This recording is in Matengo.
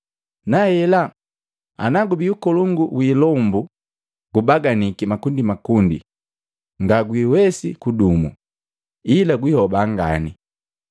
Nahela, ana gubii ukulongu wi ilombu gubaganiki makundimakundi ngagwiwesi kudumo, ila gwihoba ngane.